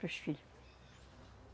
Pros filhos.